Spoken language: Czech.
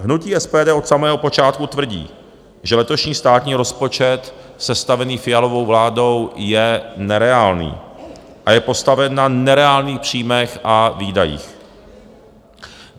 Hnutí SPD od samého počátku tvrdí, že letošní státní rozpočet sestavení Fialovou vládou je nereálný a je postaven na nereálných příjmech a výdajích.